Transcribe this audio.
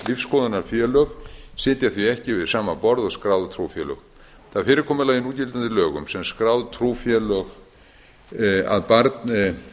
lífsskoðunarfélög sitja því ekki við sama borð og skráð trúfélög það fyrirkomulag í núgildandi lögum um skráð trúfélög að